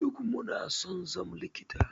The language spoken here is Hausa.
Duk Muna son zam likita.